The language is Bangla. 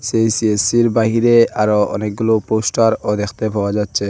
এই সিএসসির বাহিরে আরও অনেকগুলো পোস্টারও দেখতে পাওয়া যাচ্ছে।